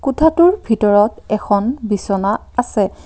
কোঠাটোৰ ভিতৰত এখন বিছনা আছে।